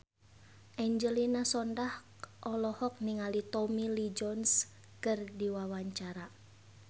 Angelina Sondakh olohok ningali Tommy Lee Jones keur diwawancara